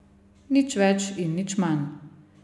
Nič več in nič manj.